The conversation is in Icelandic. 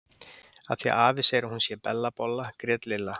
Af því að afi segir að hún sé Bella bolla grét Lilla.